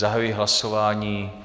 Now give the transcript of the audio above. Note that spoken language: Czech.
Zahajuji hlasování.